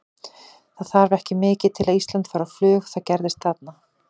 Það þarf ekki mikið til að Ísland fari á flug og það gerðist þarna.